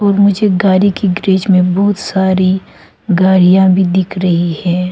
और मुझे गाड़ी की ग्रीज में बहुत सारी गाड़ियां भी दिख रही है।